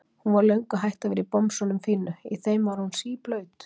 Hún var löngu hætt að vera í bomsunum fínu, í þeim var hún síblaut.